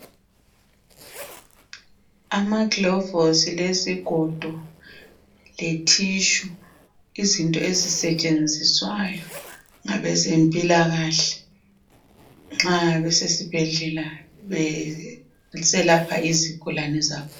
Amaglovosi lezigodo letissue, izinto ezisentshenziswayo ngabezempilakahle nxa besesibhedlela beselapha izigulane zabo.